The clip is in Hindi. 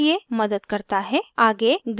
आगे grids टैब पर click करें